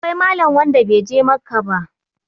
akwai Malam wnada bai je Makka ba